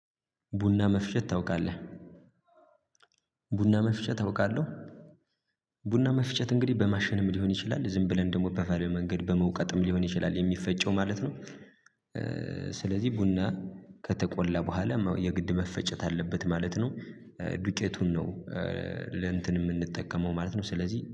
ቡና መፍጨት ታውቃለህ? ቡና መፍጨት አውቃለውህ? ቡና መፍጨት እንግዲህ በማሸንም ሊሆን ይችላል ዝም ብለን ደግሞ በባህላዊ መንገድ በመውቀጥም ሊሆን ይችላል የሚፈጨው ማለት ነው። ስለዚህ ቡና ከተቆላ በኋላ የግድ መፈጨት አለበት ማለት ነው። ዱቄቱን ነው ለእንትን የምንጠቀመው ማለት ነው። ስለዚህ